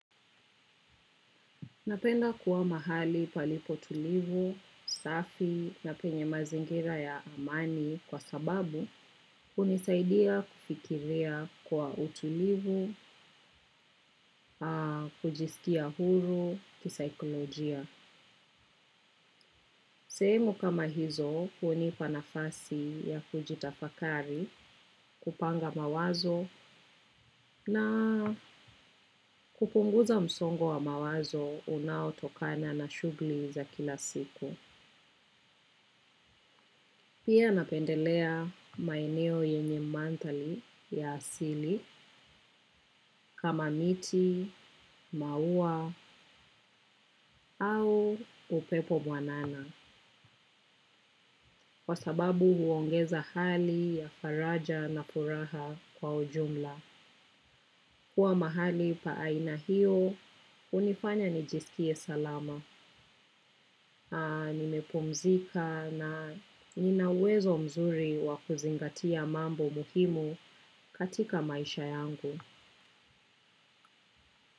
Napenda kuwa mahali palipo tulivu safi na penye mazingira ya amani kwa sababu hunisaidia kufikiria kwa utulivu kujiskia huru kisaikolojia. Sehemu kama hizo hunipa nafasi ya kujitafakari kupanga mawazo na kupunguza msongo wa mawazo unaotokana na shughuli za kila siku. Pia napendelea maeneo yenye mandhari ya asili kama miti, maua au upepo mwanana kwa sababu huongeza hali ya faraja na furaha kwa ujumla. Kuwa mahali pa aina hiyo, hunifanya nijisikie salama. Nimepumzika na nina uwezo mzuri wa kuzingatia mambo muhimu katika maisha yangu.